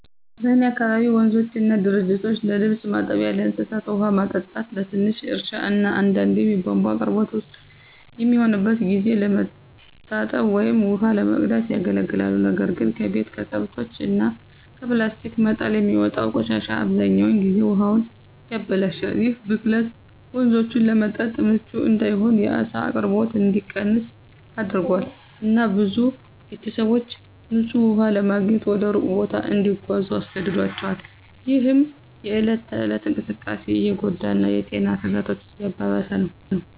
በእኔ አካባቢ ወንዞችና ጅረቶች ለልብስ ማጠቢያ፣ ለእንስሳት ውሃ ማጠጣት፣ ለትንሽ እርሻ እና አንዳንዴም የቧንቧ አቅርቦት ውስን በሚሆንበት ጊዜ ለመታጠብ ወይም ውሃ ለመቅዳት ያገለግላሉ። ነገር ግን ከቤት፣ ከከብቶች እና ከፕላስቲክ መጣል የሚወጣው ቆሻሻ አብዛኛውን ጊዜ ውሃውን ያበላሻል። ይህ ብክለት ወንዞቹን ለመጠጥ ምቹ እንዳይሆን፣ የዓሳ አቅርቦት እንዲቀንስ አድርጓል፣ እና ብዙ ቤተሰቦች ንፁህ ውሃ ለማግኘት ወደ ሩቅ ቦታ እንዲጓዙ አስገድዷቸዋል፣ ይህም የእለት ተእለት እንቅስቃሴን እየጎዳ እና የጤና ስጋቶችን እያባባሰ ነው።